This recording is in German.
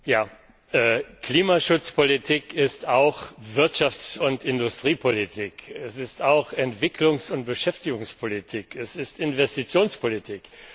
Herr Präsident! Klimaschutzpolitik ist auch Wirtschafts und Industriepolitik, sie ist auch Entwicklungs und Beschäftigungspolitik, sie ist Investitionspolitik.